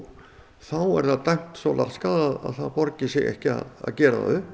þá er það dæmt svo laskað að það borgi sig ekki að gera það upp